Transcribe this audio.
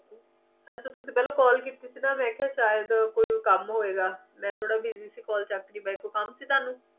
ਅੱਛਾ ਤੁਸੀਂ ਪਹਿਲਾਂ call ਕੀਤੀ ਸੀ ਨਾਂ ਮੈ ਕਿਹਾ ਸ਼ਾਇਦ ਕੋਈ ਕੰਮ ਹੋਏਗਾ ਮੈਂ ਥੋਡਾ busy ਸੀ call ਚਕ ਨਹੀਂ ਪਾਈ ਕੋਈ ਕੰਮ ਸੀ ਤੁਹਾਨੂੰ